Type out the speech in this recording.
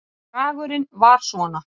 Bragurinn var svona